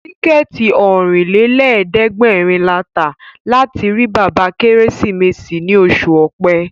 Tíkẹ̀ẹ̀tì Ọ̀rìnlélẹ̀ẹ́dẹ́gbèrin la tà láti rí bàbá Kérésìmesì ní oṣù Ọ̀pẹ